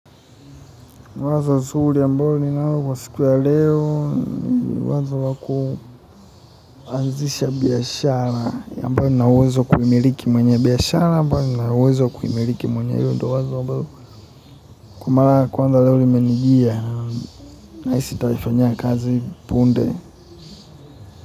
Siku ya leo kuanzisha biashara, ambayo nina uwezo wa kuimiliki mwenye biashara, ambayo nina uwezo wa kuimiliki mwanye hiyo ndiyo wazo ambalo kwa mara ya kwanza leo limenijia, nahisi nitaifanya kazi punde.